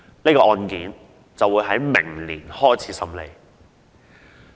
這宗案件會在明年開始審理。